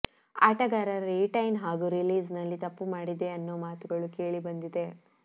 ಆಟಗಾರರ ರಿಟೈನ್ ಹಾಗೂ ರಿಲೀಸ್ನಲ್ಲಿ ತಪ್ಪು ಮಾಡಿದೆ ಅನ್ನೋ ಮಾತುಗಳು ಕೇಳಿಬಂದಿದೆ